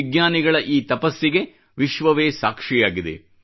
ವಿಜ್ಞಾನಿಗಳ ಈ ತಪಸ್ಸಿಗೆ ವಿಶ್ವವೇ ಸಾಕ್ಷಿಯಾಗಿದೆ